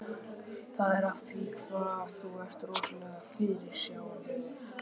Það er af því hvað þú ert rosalega fyrirsjáanlegur.